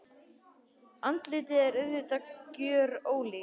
Andlitið er auðvitað gjörólíkt.